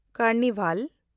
carnival